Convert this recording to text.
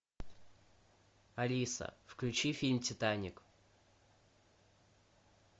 алиса включи фильм титаник